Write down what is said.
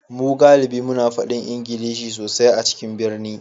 Mu galibi muna fadi Ingilishi sosai a cikin birni